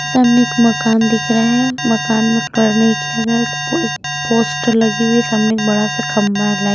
सामने एक मकान दिख रहा है मकान में कलर नहीं किया गया एक पोस्टर लगी हुई है सामने एक बड़ा सा खंबा है।